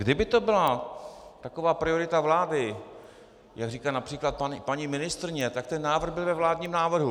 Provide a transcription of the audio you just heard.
Kdyby to byla taková priorita vlády, jak říká například paní ministryně, tak ten návrh byl ve vládním návrhu.